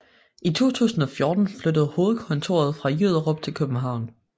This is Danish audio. I 2014 flyttede hovedkontoret fra Jyderup til København